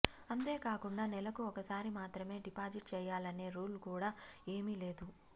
అంతేకాకుండా నెలకు ఒకసారి మాత్రమే డిపాజిట్ చేయాలనే రూల్ కూడా ఏమీ లేదు